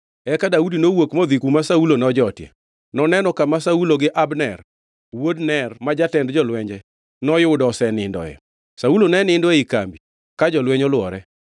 Eka Daudi nowuok modhi kuma Saulo nojotie. Noneno kama Saulo gi Abner wuod Ner ma jatend jolwenje, noyudo osenindoe. Saulo ne nindo ei kambi, ka jolweny olwore.